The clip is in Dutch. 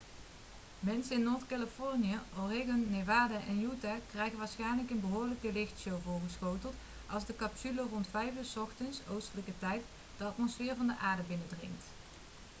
mensen in noord-californië oregon nevada en utah krijgen waarschijnlijk een behoorlijke lichtshow voorgeschoteld als de capsule rond 5 uur 's ochtends oostelijke tijd de atmosfeer van de aarde binnendringt